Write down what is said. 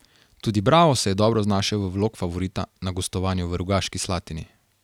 Tudi Bravo se je dobro znašel v vlog favorita na gostovanju v Rogaški Slatini.